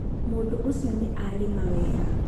mũndũ ũcio nĩarĩma wega.